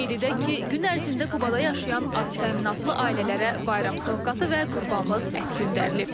Qeyd edək ki, gün ərzində Qubada yaşayan aztəminatlı ailələrə bayram sovqatı və qurbanlıq ət göndərilib.